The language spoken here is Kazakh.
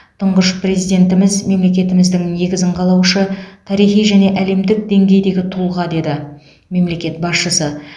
тұңғыш президентіміз мемлекетіміздің негізін қалаушы тарихи және әлемдік деңгейдегі тұлға деді мемлекет басшысы